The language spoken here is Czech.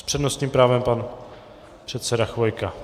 S přednostním právem pan předseda Chvojka.